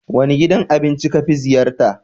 Wane gidan abinci ka fi ziyarta?